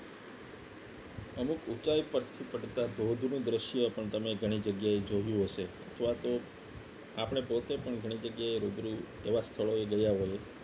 અમુક ઊંચાઈ પરથી પડતા ધોધ નું દ્રશ્ય પણ તમે ઘણી જગ્યાએ જોયું હશે અથવા તો આપણે પોતે પણ ઘણી જગ્યાએ રૂબરૂ એવા સ્થળોએ ગયા હોયએ